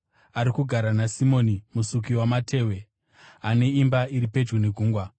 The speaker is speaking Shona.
Ari kugara naSimoni musuki wamatehwe, ane imba iri pedyo negungwa.”